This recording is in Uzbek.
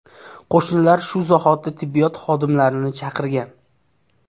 Qo‘shnilar shu zahoti tibbiyot xodimlarini chaqirgan.